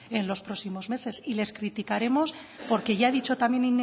en los próximos meses y les criticaremos porque ya he dicho también